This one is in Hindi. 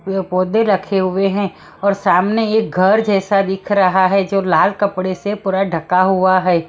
ये पौधे रखे हुए हैं और सामने एक घर जैसा दिख रहा है जो लाल कपड़े से पूरा ढका हुआ है।